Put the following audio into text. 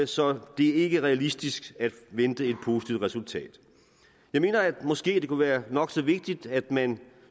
så det ikke er realistisk at vente et positivt resultat jeg mener at det måske kunne være nok så vigtigt at man